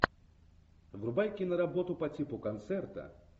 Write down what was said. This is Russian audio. врубай киноработу по типу концерта